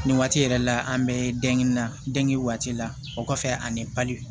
Nin waati yɛrɛ la an bɛ denkini na den waati la o kɔfɛ ani bali